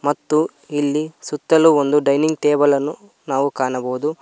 ಮತ್ತು ಇಲ್ಲಿ ಸುತ್ತಲು ಒಂದು ಡೈನಿಂಗ್ ಟೇಬಲ್ ಅನ್ನು ನಾವು ಕಾಣಬಹುದು.